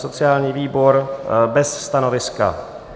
Sociální výbor bez stanoviska.